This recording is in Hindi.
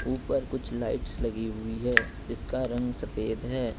ऊपर कुछ लाइट्स लगी हुई है जिसका रंग सफेद है।